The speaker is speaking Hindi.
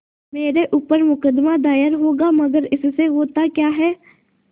मेरे ऊपर मुकदमा दायर होगा मगर इससे होता क्या है